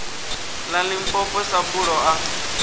ḽa limpopo sa buḓo ḽa